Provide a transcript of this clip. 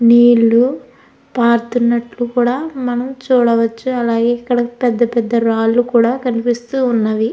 అలాగే నీళ్లు పారుతున్నట్టు మనం చూడవచ్చు.